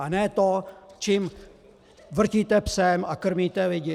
A ne to, čím vrtíte psem a krmíte lidi.